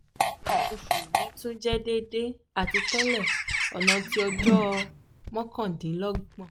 nkan osu mi tun jẹ deede ati tẹle ọna ti ọjọ mọkandinlọgbọn